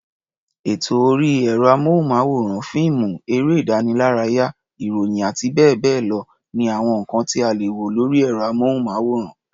Ètò orí ẹ̀rọ-amóhùnmáwòrán, fíìmù, eré-ìdánilárayá, ìròyìn àti bẹ́ẹ̀ bẹ́ẹ̀ lọ ni àwọn nǹkan tí a lè wo lórí ẹ̀rọ-amóhùnmáwòrán.